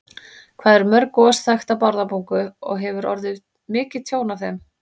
Hvað eru mörg gos þekkt í Bárðarbungu og hefur orðið mikið tjón af þeim?